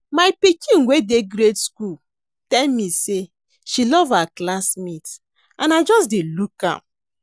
My pikin wey dey grade school tell me say she love her classmate and I just dey look am